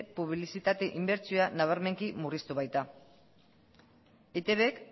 publizitate inbertsioa nabarmenki murriztu baita eitbk